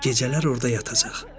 Gecələr orda yatacaq.